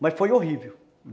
Mas foi horrível.